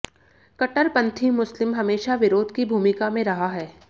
कट्टरपंथी मुस्लिम हमेशा विरोध की भूमिका में रहा है